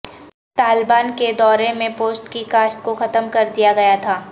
طالبان کے دورے میں پوشت کی کاشت کو ختم کر دیا گیا تھا